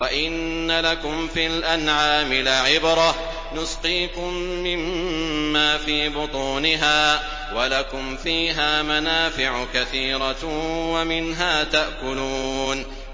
وَإِنَّ لَكُمْ فِي الْأَنْعَامِ لَعِبْرَةً ۖ نُّسْقِيكُم مِّمَّا فِي بُطُونِهَا وَلَكُمْ فِيهَا مَنَافِعُ كَثِيرَةٌ وَمِنْهَا تَأْكُلُونَ